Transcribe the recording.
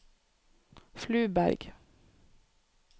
Fluberg